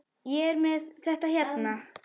Ég er með þetta hérna.